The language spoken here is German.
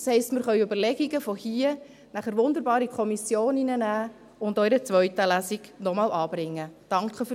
Das heisst, dass wir Überlegungen, die hier gemacht werden, wunderbar in die Kommissionen nehmen und auch in einer zweiten Lesung noch einmal anbringen können.